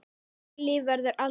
Þeirra líf verður aldrei eins.